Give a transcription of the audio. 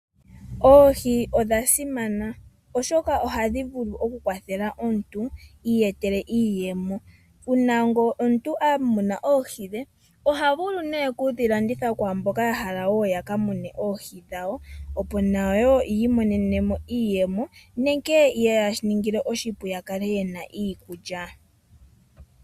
Oohi odhasimana oshoka ohadhi kwathele aantu yiiyetele iiyemo nuuna ngele omuntu amuna oohi dhe ohavulu okudhilandithapo kwaamboka yahala yakamune oohi dhawo opo yiimonenemo iiyemo yawo sho shikale oshipu yiimonenemo iikulya.